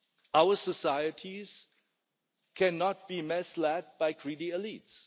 Our societies cannot be misled by greedy elites.